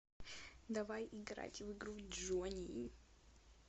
давай играть в игру джони